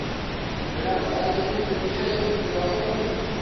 Nĩũrabatara nyeni nyingĩ harĩ ũrugi wa ũmũthĩ?